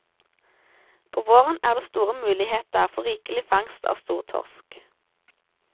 På våren er det store muligheter for rikelig fangst av stortorsk.